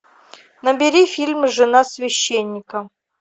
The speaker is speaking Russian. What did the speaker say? набери фильм жена священника